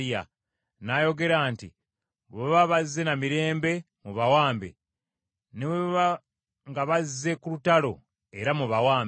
N’ayogera nti, “Bwe baba bazze na mirembe, mubawambe, ne bwe baba nga baze ku lutalo, era mubawambe.”